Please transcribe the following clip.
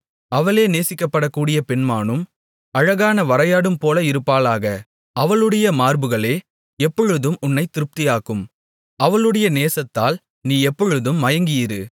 அவளே நேசிக்கப்படக்கூடிய பெண்மானும் அழகான வரையாடும்போல இருப்பாளாக அவளுடைய மார்புகளே எப்பொழுதும் உன்னைத் திருப்தியாக்கும் அவளுடைய நேசத்தால் நீ எப்பொழுதும் மயங்கியிரு